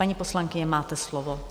Paní poslankyně, máte slovo.